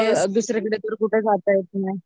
असं दुसरीकडे तर कुठे जाता येत नाय